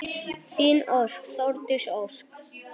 Þín Þórdís Ósk.